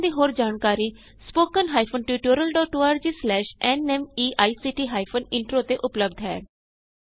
ਇਸ ਮਿਸ਼ਨ ਦੀ ਹੋਰ ਜਾਣਕਾਰੀ spoken hyphen tutorial dot org slash NMEICT hyphen intro ਤੇ ਉਪਲੱਭਦ ਹੈ